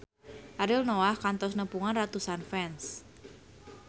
Ariel Noah kantos nepungan ratusan fans